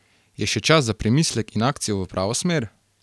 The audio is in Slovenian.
Je še čas za premislek in akcijo v pravo smer?